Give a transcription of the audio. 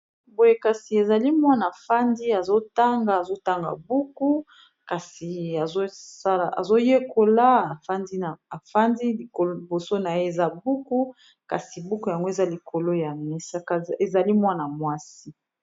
Boye kasi ezali mwana avandi azotanga, azotanga buku, kasi azoyekola avandi, liboso na ye eza buku kasi buku yango eza likolo ya mesa, ezali mwana mwasi.